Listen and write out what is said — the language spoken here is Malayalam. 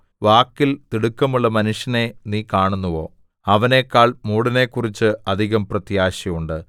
വാക്കിൽ തിടുക്കമുള്ള മനുഷ്യനെ നീ കാണുന്നുവോ അവനെക്കാൾ മൂഢനെക്കുറിച്ച് അധികം പ്രത്യാശയുണ്ട്